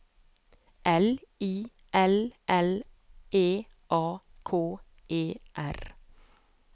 L I L L E A K E R